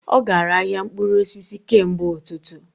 Ọ gara ahịa mkpụrụ osisi kemgbe ụtụtụ